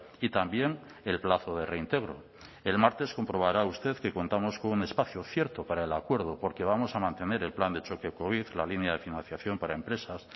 y también el plazo de reintegro el martes comprobará usted que contamos con un espacio cierto para el acuerdo porque vamos a mantener el plan de choque covid la línea de financiación para empresas